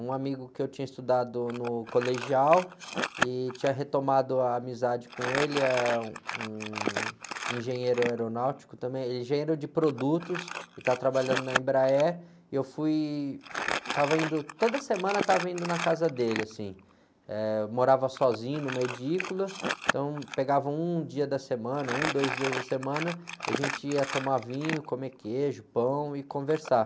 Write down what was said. Um amigo que eu tinha estudado no colegial e tinha retomado a amizade com ele, eh, um engenheiro aeronáutico também, engenheiro de produtos, e estava trabalhando na Embraer, e eu fui, estava indo, toda semana estava indo na casa dele, morava sozinho numa edícula, então pegava um dia da semana, um, dois dias da semana, e a gente ia tomar vinho, comer queijo, pão e conversar.